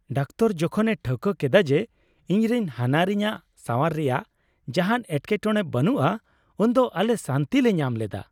Doctor ᱡᱚᱠᱷᱚᱱᱮ ᱴᱷᱟᱹᱣᱠᱟᱹ ᱠᱮᱫᱟ ᱡᱮ ᱤᱧᱨᱮᱱ ᱦᱟᱱᱦᱟᱨᱤᱧᱟᱜ ᱥᱟᱣᱟᱨ ᱨᱮᱭᱟᱜ ᱡᱟᱦᱟᱱ ᱮᱴᱠᱮᱴᱚᱬᱮ ᱵᱟᱹᱱᱩᱜᱼᱟ ᱩᱱᱫᱚ ᱟᱞᱮ ᱥᱟᱹᱱᱛᱤ ᱞᱮ ᱧᱟᱢ ᱞᱮᱫᱟ ᱾